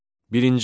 Birinci.